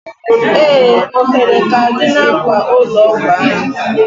Ee! Ohere k'a dị n'akwa ụlọ ọgwụ ahụ.